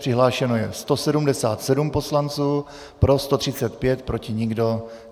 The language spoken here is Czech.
Přihlášeno je 177 poslanců, pro 135, proti nikdo.